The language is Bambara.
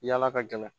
Yala ka gɛlɛn